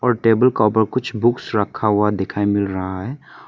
Table का ऊपर कुछ बुक्स रखा हुआ दिखाई मिल रहा है।